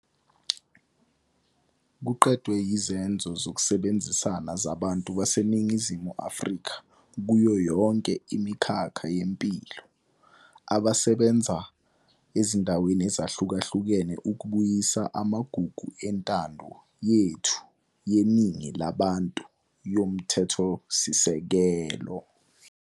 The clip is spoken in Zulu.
Kuqedwe yizenzo zokusebenzisana zabantu baseNingizimu Afrika kuyo yonke imikhakha yempilo, abasebenza ezindaweni ezahlukahlukene ukubuyisa amagugu entando yethu yeningi labantu yomthethosisekelo.